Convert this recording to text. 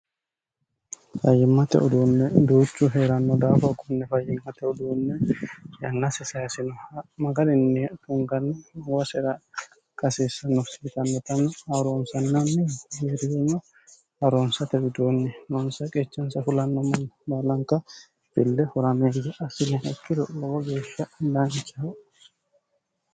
fayimmate uduunne duuchu heeranno daafo konne fayyimmate uduunne yannasi sayisinoha magarinni tunganni mabasera ikka hasiissanno yitannotera Haaroonsannanni arino Haroonsate widoonni noonsa qechansa fulanno manni baalanka fille horameeya assinayiha ikkiro lowo geeshsha daancho.